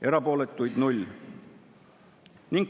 Erapooletuid 0.